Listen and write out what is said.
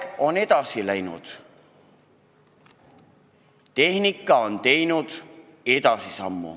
Aeg on edasi läinud, tehnika on arenenud.